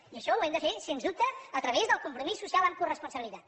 i això ho hem de fer sens dubte a través del compromís social amb coresponsabilitat